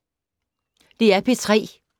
DR P3